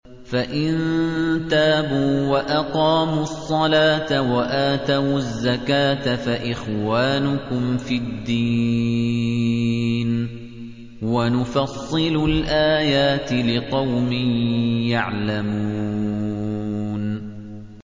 فَإِن تَابُوا وَأَقَامُوا الصَّلَاةَ وَآتَوُا الزَّكَاةَ فَإِخْوَانُكُمْ فِي الدِّينِ ۗ وَنُفَصِّلُ الْآيَاتِ لِقَوْمٍ يَعْلَمُونَ